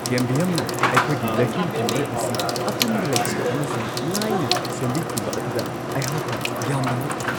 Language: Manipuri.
ꯀꯦꯝꯕꯤꯌꯝꯅ ꯑꯩꯈꯣꯏꯒꯤ ꯕꯦꯀ꯭ꯌꯨꯝ ꯀ꯭ꯂꯤꯅꯔ ꯑꯁꯤ ꯑꯄꯟꯕ ꯂꯩꯇꯅ ꯑꯃꯁꯨꯡ ꯂꯥꯏꯅ ꯁꯦꯝꯕꯤꯈꯤꯕ ꯑꯗꯨꯗ ꯑꯩꯍꯥꯛꯅ ꯌꯥꯝꯅ ꯉꯛꯈꯤ ꯫